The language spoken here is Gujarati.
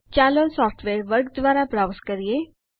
ચાલો સોફ્ટવેર વર્ગ દ્વારા બ્રાઉઝ કરીએ